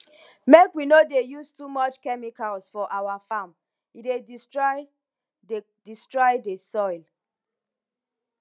make we no dey use too much chemicals for our farm e dey destroy dey destroy the soil